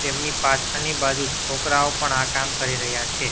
તેમની પાછળની બાજુ છોકરાઓ પણ આ કામ કરી રહ્યા છે.